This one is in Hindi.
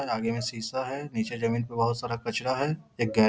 आगे में शीशा है नीचे जमीन पे बहोत सारा कचरा है। एक गे --